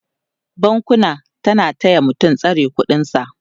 bankuna na taya mutum tsare ƙuɗin sa